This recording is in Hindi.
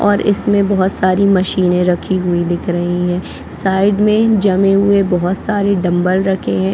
और इसमें बहोत सारी मशीने रखी हुई दिख रही है साइड में जमे हुए बहुत सारे डंबल रखे है ।